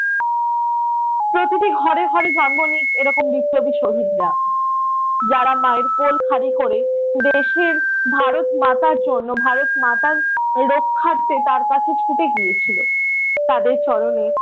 প্রতিটি ঘরে ঘরে জন্ম নেই নিক এরকম বিপ্লবী শহীদরা। যারা মায়ের কোল খালি করে দেশের ভারত মাতার জন্য ভারত মাতার রক্ষার্থে তার কাছে ছুটে গিয়েছিল। তাদের চরণে